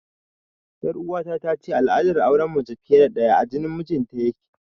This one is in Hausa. Ƴar uwata tace al'adar auren mace fiye da ɗaya a jinin mijinta yake